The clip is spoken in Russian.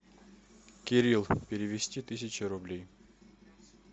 кирилл перевести тысяча рублей